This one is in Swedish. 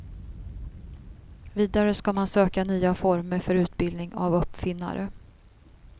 Vidare ska man söka nya former för utbildning av uppfinnare.